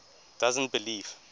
doesn t believe